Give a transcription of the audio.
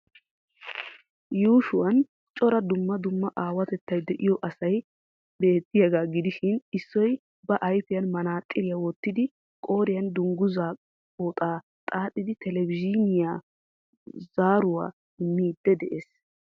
Yuushuwaan cora dumma dumma aawatettay de'iyo asay beettiyaagaa gidishiin issoy ba ayfiyaan maxaaxiriyaa wottidi qooriyaan dunguzzaa pooxaa xaaxxidi televizhiniyayo zaaruwaa immidi dees.